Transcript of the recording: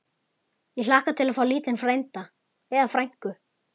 Ég hlakka til að fá lítinn frænda. eða frænku!